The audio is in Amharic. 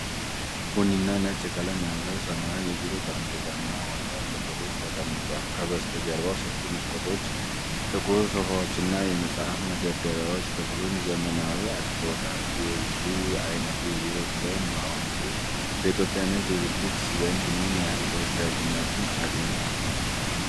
ቡኒና ነጭ ቀለም ያለው ዘመናዊ የቢሮ ጠረጴዛና ወንበር ክፍል ውስጥ ተቀምጠዋል። ከበስተጀርባ ሰፊ መስኮቶች፣ ጥቁር ሶፋዎችና የመጽሐፍት መደርደሪያዎች ክፍሉን ዘመናዊ አድርገውታል። የዚህ ዓይነቱ የቢሮ ዲዛይን በአሁኑ ጊዜ በኢትዮጵያ ንግድ ድርጅቶች ዘንድ ምን ያህል ተወዳጅነት አግኝቷል?